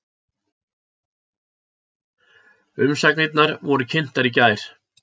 Umsagnirnar voru kynntar í gær